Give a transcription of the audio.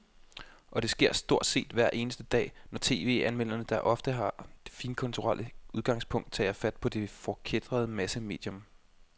Og det sker stort set hver eneste dag, når tv-anmelderne, der ofte har det finkulturelle udgangspunkt, tager fat på det forkætrede massemedium.